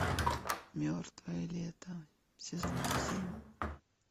мертвое лето сезон семь